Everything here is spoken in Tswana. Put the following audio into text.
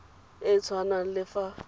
e e tshwanang le fa